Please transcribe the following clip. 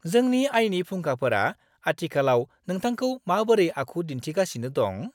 जोंनि आयनि फुंखाफोरा आथिखालाव नोंथांखौ माबोरै आखु दिन्थिगासिनो दं?